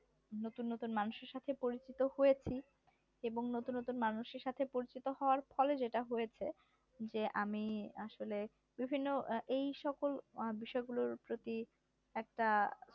নতুন নতুন মানুষের সাথে পরিচিত হয়েছি এবং নতুন নতুন মানুষের সাথে পরিচিত হওয়ার ফলে যেটা হয়েছে যে আমি আসলে বিভিন্ন এই সকল বিষয়গুলোর প্রতি একটা